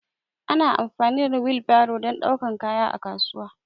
Ana amfani da wil baro dan daukar kaya a kasuwa